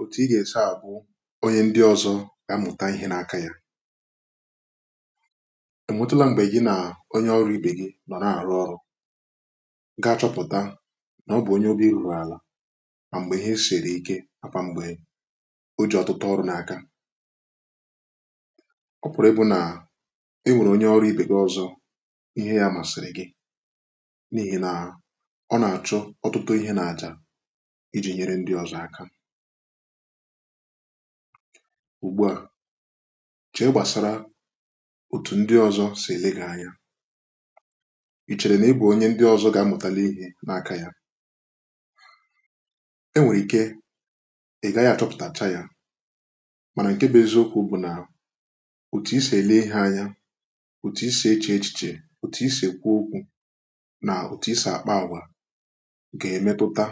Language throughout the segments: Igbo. otu ị ga-esi ahụ onye ndị ọzọ na-amụta ihe n’aka ya enwetula mgbe gị na onye ọrụ ibe gị nọ na-arụ ọrụ ga-achọpụta na ọ bụ onye obi ruru ala ma mgbe ihe siri ike makwa mgbe oji ọtụtụ ọrụ n’aka ọ pụrụ ebu na inwere onye ọrụ ibe gị ọzọ ihe ya masịrị gị n’ihi na ọ na-achọ ọtụtụ ihe na-acha ùgbu à chèe gbàsara otù ndị ọzọ̀ sì ele gi anya ì chèrè na ị bụ̀ onye ndị ọzọ̀ gà-amụ̀tàlị ikė n’aka yȧ e nwèrè ike ị̀ gaghị̇ achọpụ̀tàcha yȧ mànà ǹke bụ̀ eziokwu̇ bụ̀ nà òtù i sì ele ihe anya òtù i sì echè echichè òtù i sì kwuo ukwù nà òtù i sì akpa àgwà gà-emetụta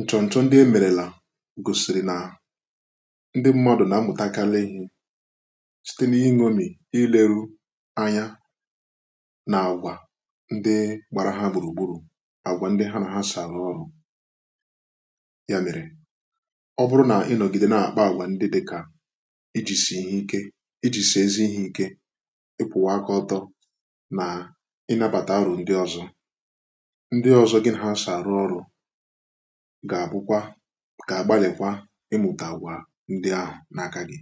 nchọ nchọ ndị emerela gosiri na ndị mmadụ na-amụtakalị ihe site n’iṅomi, ileru anya na agwà ndị gbara ha gburugburu agwà ndị ha na ha so arụ ọrụ ya mere ọ bụrụ na ị nọgide na-akpa agwa ndị dịka iji si n’ihe ike iji si ezi ihe ike ịkwụwa akọ ọtọ na ịnabata aro ndị ọzọ ndị ọzọ gị na ha saa rụọ ọrụ ga-abụkwa ga-agbalịkwa ịmụta gwa ndị ahụ n’aka gị